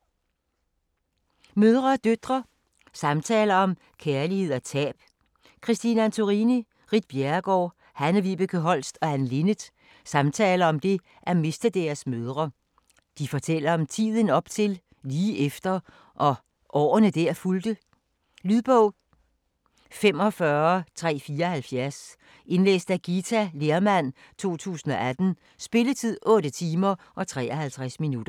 Mødre og døtre: samtaler om kærlighed og tab Christine Antorini, Ritt Bjerregaard, Hanne-Vibeke Holst og Anne Linnet samtaler om det at miste deres mødre. De fortæller om tiden op til, lige efter og årene der fulgte. Lydbog 45374 Indlæst af Githa Lehrmann, 2018. Spilletid: 8 timer, 53 minutter.